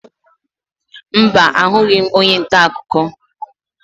Mba, ahụghị m onye ntaakụkọ